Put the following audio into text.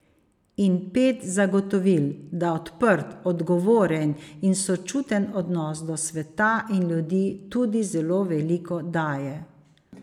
In pet zagotovil, da odprt, odgovoren in sočuten odnos do sveta in ljudi tudi zelo veliko daje.